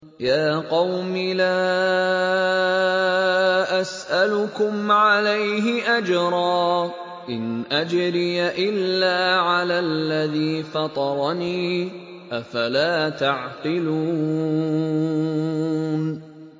يَا قَوْمِ لَا أَسْأَلُكُمْ عَلَيْهِ أَجْرًا ۖ إِنْ أَجْرِيَ إِلَّا عَلَى الَّذِي فَطَرَنِي ۚ أَفَلَا تَعْقِلُونَ